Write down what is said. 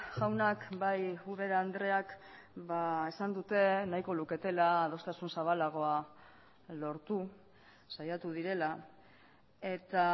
jaunak bai ubera andreak esan dute nahiko luketela adostasun zabalagoa lortu saiatu direla eta